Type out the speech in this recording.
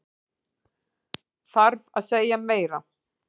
Þarf að segja meira?